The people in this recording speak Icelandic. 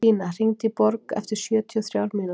Tína, hringdu í Borg eftir sjötíu og þrjár mínútur.